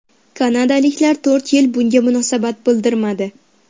Kanadaliklar to‘rt yil bunga munosabat bildirmadi.